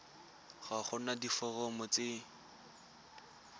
ga go na diforomo tse